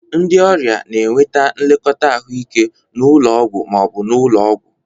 Ndị ọrịa na-enweta nlekọta ahụike n'ụlọ ọgwụ ma ọ bụ ụlọ ọgwụ.